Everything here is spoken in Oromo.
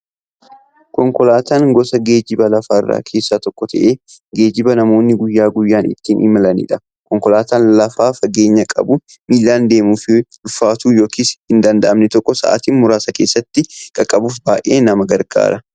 Konkolaataan gosa geejjiba lafarraa keessaa tokko ta'ee, geejjiba namoonni guyyaa guyyaan ittiin imalaniidha. Konkolaataan lafa fageenya qabu, miillaan deemuuf ulfaatu yookiin hin danda'amne tokko sa'aatii muraasa keessatti qaqqabuuf baay'ee nama gargaara.